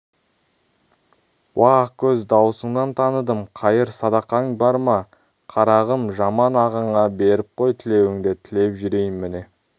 уа ақкөз дауысыңнан таныдым қайыр-садақаң бар ма қарағым жаман ағаңа беріп қой тілеуіңді тілеп жүрейін міне